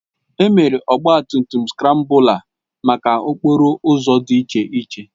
Emebere Ọgba tum tum skrambụla maka n'okporo ụzọ dị iche iche